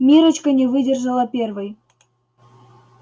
миррочка не выдержала первой